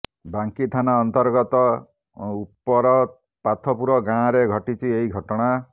ବାଙ୍କୀ ଥାନା ଅନ୍ତର୍ଗତ ଉପରପାଥପୁର ଗାଁରେ ଘଟିଛି ଏହି ଘଟଣା